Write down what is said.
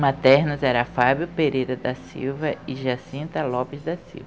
Maternos era Fábio Pereira da Silva e Jacinta Lopes da Silva.